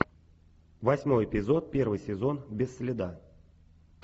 восьмой эпизод первый сезон без следа